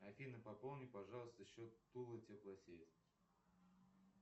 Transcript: афина пополни пожалуйста счет тулы теплосеть